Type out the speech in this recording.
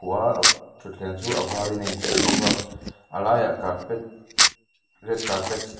a thutthleng chu a varin a inkhuh bawk a a laiah carpet red carpet sty --